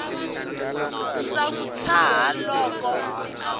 ndza n wi tshaha loko